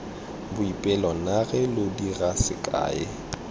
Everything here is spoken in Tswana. boipelo naare lo dira sekae